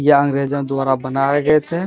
यह अंग्रेजों द्वारा बनाये गए थे।